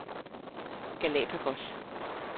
Galapagos